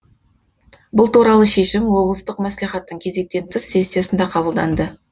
бұл туралы шешім облыстық мәслихаттың кезектен тыс сессиясында қабылданды